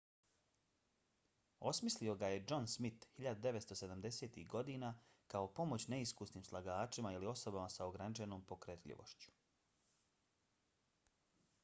osmislio ga je john smith 1970-ih godina kao pomoć neiskusnim slagačima ili osobama s ograničenom pokretljivošću